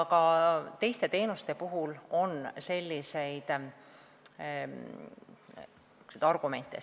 Ka teiste teenuste puhul on selliseid argumente.